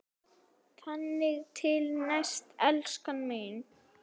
Þangað til næst, elskan mín.